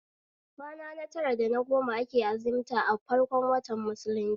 Kwana na tara da na goma ake azimta a farkon watan musulunci